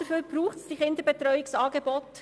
Dafür braucht es diese Kinderbetreuungsangebote.